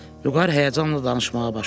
Vüqar həyəcanla danışmağa başladı.